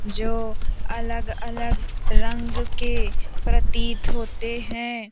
जो अलग-अलग रंग के प्रतीत होते हैं।